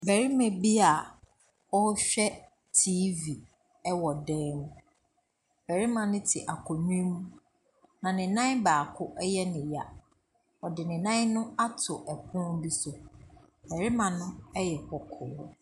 Barima bi a ɔhwɛ teeve ɛwɔ dɛm. Barima ne te akonya mu na ne nnan baako ɛyɛ ne ya. Ɔde ne nan no ato ɛpon bi so. Barima no ɛyɛ bɔkɔɔ.